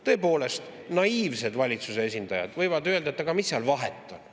Tõepoolest, naiivsed valitsuse esindajad võivad öelda, et aga mis seal vahet on.